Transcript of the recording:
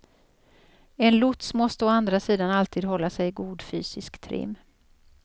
En lots måste å andra sidan alltid hålla sig i god fysisk trim.